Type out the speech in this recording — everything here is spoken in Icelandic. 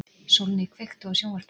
Sólný, kveiktu á sjónvarpinu.